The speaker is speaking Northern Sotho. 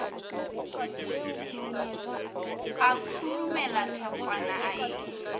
a khurumela thekgwana a e